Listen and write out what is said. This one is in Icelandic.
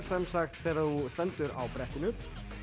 þegar þú stendur á brettinu